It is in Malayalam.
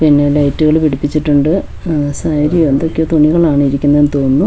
പിന്നെ ലൈറ്റുകള് പിടിപ്പിച്ചിട്ടുണ്ട് ഉം സാരി അതൊക്ക തുണികളാണ് ഇരിക്കുന്നതെന്ന് തോന്നുന്നു.